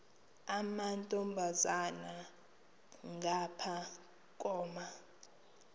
amantombazana ngapha koma